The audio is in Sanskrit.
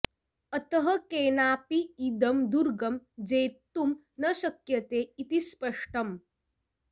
अतः केनापि इदं दुर्गं जेतुं न शक्यते इति स्पष्टम्